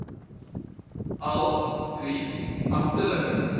al drie amptelike